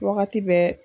Wagati bɛɛ